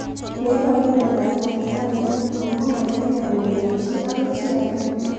Ne iparu miondop ab Tarsal Tunnel syndrome ko makarkei kong'ete chii akoi chii ake